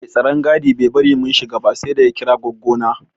Mai tsaron gadi bai bari mun shiga ba saida ya kira goggo na.